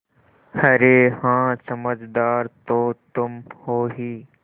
अरे हाँ समझदार तो तुम हो ही